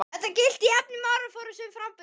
Þetta gilti jafnt um orðaforða sem framburð.